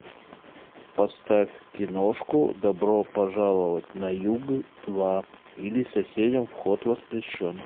поставь киношку добро пожаловать на юг два или соседям вход воспрещен